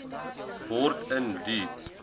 word in die